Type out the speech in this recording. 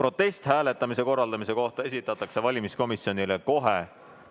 Protest hääletamise korraldamise kohta esitatakse valimiskomisjonile kohe